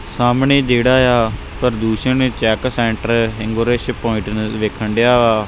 ਸਾਹਮਣੇ ਜਿਹੜਾ ਆ ਪ੍ਰਦੂਸ਼ਣ ਚੈੱਕ ਸੈਂਟਰ ਇਨਗੋਰੇਸ਼ਨ ਪੁਆਇੰਟ ਵਿਖਣ ਡਿਆ ਵਾ।